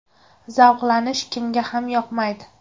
Zavqlanish kimga ham yoqmaydi?